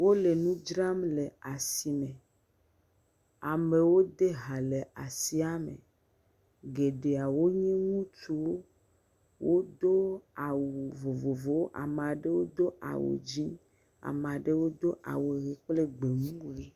Wole nu dzram le asi me. Amewo de ha le asia me. Geɖeawo nye ŋutsuwo, wodo awu vovovowo, ame aɖewo do awu dzɛ̃, ame aɖewo do awu ʋi kple gbemumu.